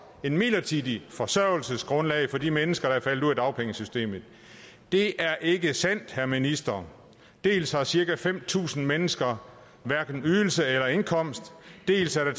et midlertidigt forsørgelsesgrundlag for de mennesker der er faldet ud af dagpengesystemet det er ikke sandt herre minister dels har cirka fem tusind mennesker hverken ydelse eller indkomst dels er